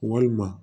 Walima